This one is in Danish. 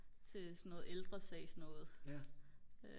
til sådan noge ældresagsnoget